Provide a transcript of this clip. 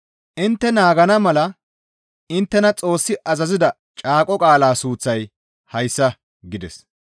«Intte naagana mala inttena Xoossi azazida caaqo qaala suuththay hayssa» gides.